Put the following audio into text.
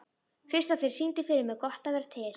Kristofer, syngdu fyrir mig „Gott að vera til“.